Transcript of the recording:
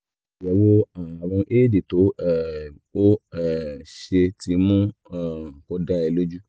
àyẹ̀wò ààrùn éèdì tó um o um ṣe ti mú um kó dá ẹ lójú